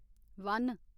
one